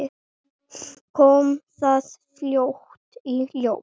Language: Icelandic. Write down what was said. Kom það fljótt í ljós?